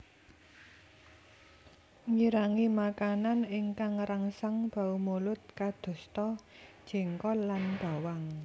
Ngirangi makanan ingkang ngrangsang bau mulut kadosta jengkol lan bawang